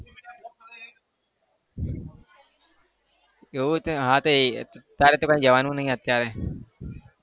એવું છે હા તે તારે તો ક્યાંય જવાનું નહી અત્યારે.